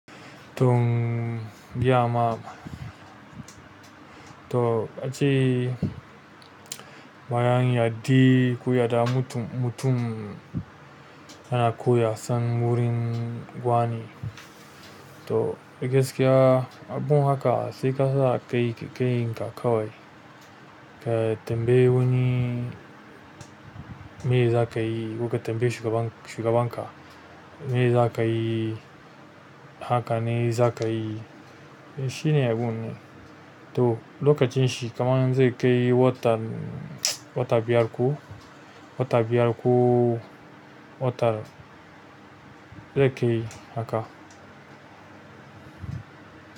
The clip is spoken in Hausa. Tom, biya ma. To ace bayan yandi koya da mutum in mutum yana ko yasan gurin wani toh, nibgaskiya abun haka sai ka sa kai ka kan ka kawai. Ka tambayi wani me zakayi koka tambayi shugaban, shugaban ka, me za ka yi? Haka ne za ka yi? Shi ne bun ne. Toh, lokacin shi kaman zai kai watan, wata biyar ko, wata biyar ko, wata zai kai haka.